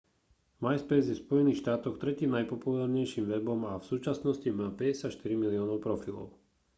myspace je v spojených štátoch tretím najpopulárnejším webom a v súčasnosti má 54 miliónov profilov